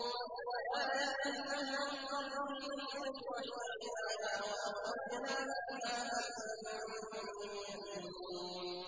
وَآيَةٌ لَّهُمُ الْأَرْضُ الْمَيْتَةُ أَحْيَيْنَاهَا وَأَخْرَجْنَا مِنْهَا حَبًّا فَمِنْهُ يَأْكُلُونَ